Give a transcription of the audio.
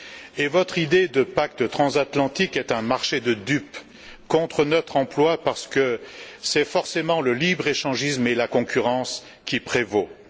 Et votre idée de pacte transatlantique est un marché de dupes, contre notre emploi, parce que c'est forcément le libre échangisme et la concurrence qui prévalent.